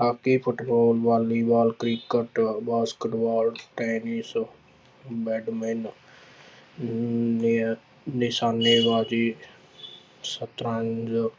hockey, football, volleyball, cricket, basketball, tennis, badminton~ ਨਿਸ਼ਾਨੇਬਾਜ਼ੀ ਸਤਰੰਜ